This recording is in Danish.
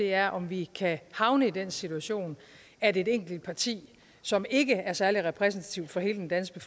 er om vi kan havne i den situation at et enkelt parti som ikke er særlig repræsentativt for hele den danske